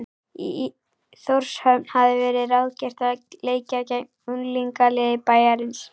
Í Þórshöfn hafði verið ráðgert að leika gegn unglingaliði bæjarins.